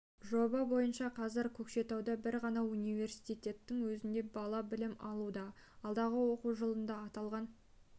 жоба бойынша қазір көкшетауда бір ғана университеттің өзінде бала білім алуда алдағы оқу жылында аталған